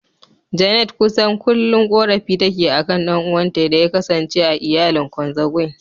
Janet kusan kullum korafi take akan ɗan'uwanta da ya kasance a iyalin "Consanguine".